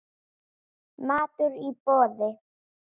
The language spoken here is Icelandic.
Matur í boði.